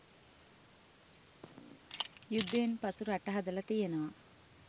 යුද්ධයෙන් පසු රට හදල තියෙනවා.